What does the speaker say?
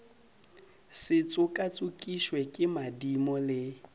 se tšokatšokišwe ke madimo le